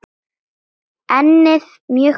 Ennið mjög breitt.